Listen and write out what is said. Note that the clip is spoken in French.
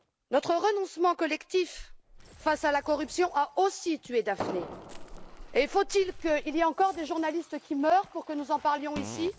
Notre renoncement collectif face à la corruption a aussi tué Daphne. Faut il qu'il y ait encore des journalistes qui meurent pour que nous en parlions ici?